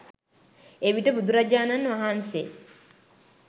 එවිට බුදුරජාණන් වහන්සේ